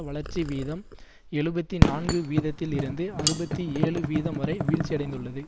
வளர்ச்சி வீதம் எழுபத்தி நான்கு வீதத்தில் இருந்து அறுபத்தி ஏழு வீதம் வரை வீழ்ச்சியடைந்துள்ளது